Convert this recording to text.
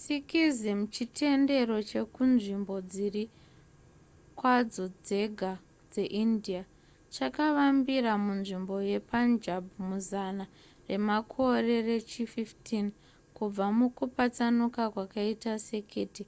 sikhism chitendero chekunzvimbo dziri kwadzo dzega dzeindia chakavambira munzvimbo yepunjab muzana remakore rechi15 kubva mukupatsanuka kwakaita sekete